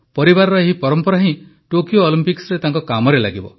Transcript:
ପରିବାରର ଏହି ପରମ୍ପରା ହିଁ ଟୋକିଓ ଅଲମ୍ପିକରେ ତାଙ୍କ କାମରେ ଲାଗିବ